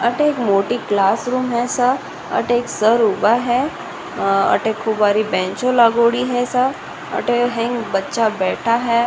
अटे एक मोटी क्लासरूम है सा अटे एक सर उबा है अटे खूब हारी बेंचो लागेड़ी है सा अटे हेंग बच्चा बैठा है।